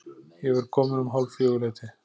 Ég verð kominn um hálffjögur-leytið.